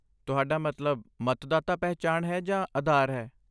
ਤੁਹਾਡਾ ਮਤਲਬ ਮਤਦਾਤਾ ਪਹਿਚਾਣ ਹੈ ਜਾਂ ਆਧਾਰ ਹੈ?